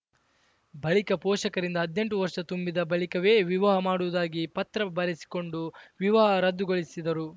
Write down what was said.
ಬಳಿಕ ಪೋಷಕರಿಂದ ಹದ್ನೆಂಟು ವರ್ಷ ತುಂಬಿದ ಬಳಿಕವೇ ವಿವಾಹ ಮಾಡುವುದಾಗಿ ಪತ್ರ ಬರೆಸಿಕೊಂಡು ವಿವಾಹ ರದ್ದುಗೊಳಿಸಿದರು